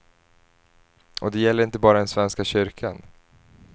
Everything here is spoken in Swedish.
Och det gäller inte bara den svenska kyrkan.